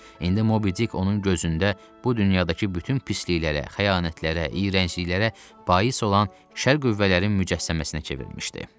İndi Mobi-Dik onun gözündə bu dünyadakı bütün pisliklərə, xəyanətlərə, iyrəncliklərə bais olan şər qüvvələrin mücəssəməsinə çevrilmişdi.